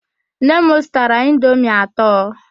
Nne m zụtara indomi atọ.